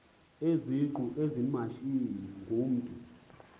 izingqu ezimashiyi ngumntu